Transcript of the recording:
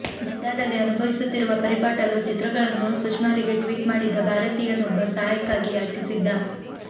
ಜೆಡ್ಡಾದಲ್ಲಿ ಅನುಭವಿಸುತ್ತಿರುವ ಪರಿಪಾಟಲು ಚಿತ್ರಗಳನ್ನು ಸುಷ್ಮಾರಿಗೆ ಟ್ವೀಟ್ ಮಾಡಿದ್ದ ಭಾರತೀಯನೊಬ್ಬ ಸಹಾಯಕ್ಕಾಗಿ ಯಾಚಿಸಿದ್ದ